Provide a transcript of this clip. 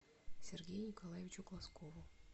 сергею николаевичу глазкову